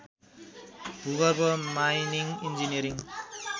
भूगर्भ mining engineering